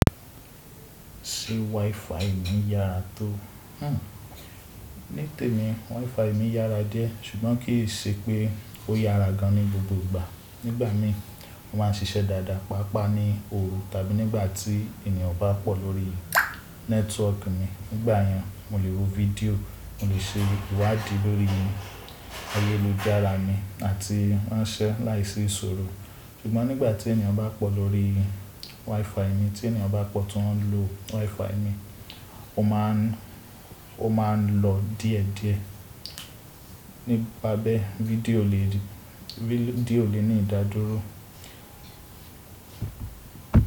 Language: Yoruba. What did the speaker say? Ṣé WiFi mi yára tó? Hmm. Ní tèmi WiFi mi yára díẹ̀ ṣùgbọ́n kì í ṣe pé ó yára gan ní gbogbo ìgbà. Nígbà mí ó ma ń ṣiṣẹ́ dáadáa, pàápàá ní òru tàbí nígbà tí ènìyàn bá pọ̀ lórí nẹ́tíwọ̀ọ̀kì mi. Nígbà yẹn mó lè wo fídíò, mó lè ṣe ìwádìí lórí ayélujára mi àti ránṣẹ́ láìsí ìṣòro. Ṣùgbọ́n nígbà tí ènìyàn bá pọ̀ lórí WiFi mi, tí ènìyàn bá pọ̀ tó ń lo WiFi mi, ó ma ń ó ma ń lọ díẹ̀díẹ̀. Nípa bẹ́ fídíò lè ní ìdádúró.